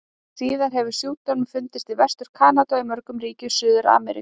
Síðar hefur sjúkdómurinn fundist í Vestur-Kanada og í mörgum ríkjum Suður-Ameríku.